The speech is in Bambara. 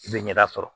I bɛ ɲɛda sɔrɔ